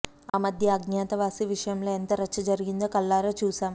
ఆ మధ్య అజ్ఞాతవాసి విషయంలో ఎంత రచ్చ జరిగిందో కళ్ళారా చూశాం